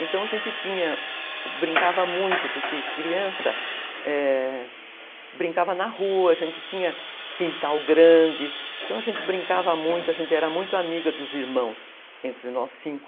Então a gente tinha, brincava muito, porque criança...é, brincava na rua, a gente tinha quintal grande, então a gente brincava muito, a gente era muito amiga dos irmãos, entre nós cinco,